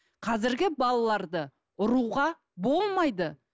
қазіргі балаларды ұруға болмайды